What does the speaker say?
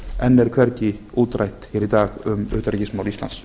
enn er hvergi útrætt hér í dag um utanríkismál íslands